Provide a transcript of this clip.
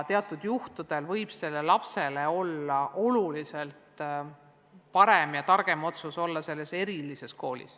Teatud juhtudel võib lapse jaoks olla oluliselt parem ja targem lasta tal õppida just selles erilises koolis.